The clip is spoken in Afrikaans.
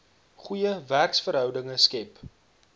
goeie werksverhoudinge skep